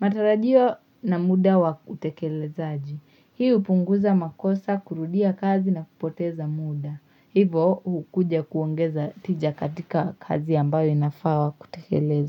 Matarajio na muda wa kutekelezaji. Hii hupunguza makosa, kurudia kazi na kupoteza muda. Hivo hukuja kuongeza tija katika kazi ambayo inafaa kutekeleza.